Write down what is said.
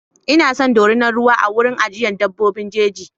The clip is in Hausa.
Ina son dorinar ruwa a cikin wurin ajiyar dabbobin jeji.